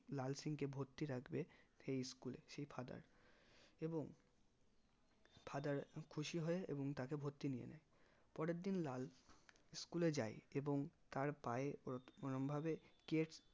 লাল সিং কে ভর্তি রাখবে সেই school এ সেই father এবং father খুশি হয়ে এবং তাকে ভর্তি নিয়ে নেই পরের দিন লাল school এ যাই এবং তার পায়ে কোনো রকম ভাবে